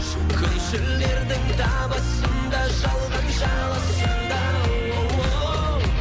күншілдердің табасын да жалған жаласын да оооу